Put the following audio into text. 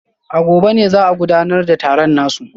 A gobe ne za a gudanar da taron nasu